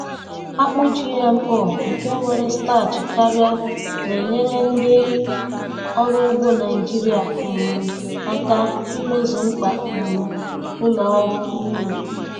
akpụ GMO nke nwere starch karịa na-enyere ndị ọrụ ugbo Nijiria um aka imezu mkpa um ụlọ ọrụ nri.